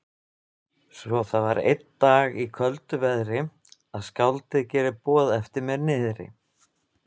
Svo var það einn dag í köldu veðri, að skáldið gerir boð eftir mér niðri.